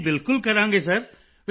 ਜੀ ਬਿਲਕੁਲ ਕਰਾਂਗੇ ਸਿਰ